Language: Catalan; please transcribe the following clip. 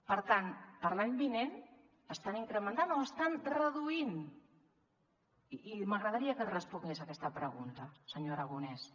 per tant per a l’any vinent estan incrementant o estan reduint i m’agradaria que respongués aquesta pregunta senyor aragonès